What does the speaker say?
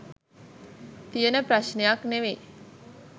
තියෙන ප්‍රශ්ණයක් නෙමෙයි.